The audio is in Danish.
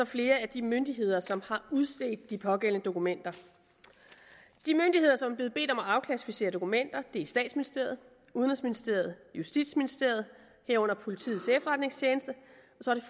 flere af de myndigheder som har udstedt de pågældende dokumenter de myndigheder som er blevet bedt om at afklassificere dokumenter er statsministeriet udenrigsministeriet justitsministeriet herunder politiets efterretningstjeneste